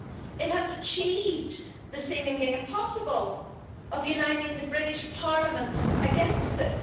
It has achieved the seemingly impossible of uniting the British Parliament against it.